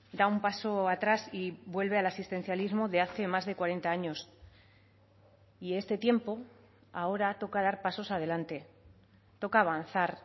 da un paso atrás y vuelve al asistencialismo de hace más de cuarenta años y este tiempo ahora toca dar pasos adelante toca avanzar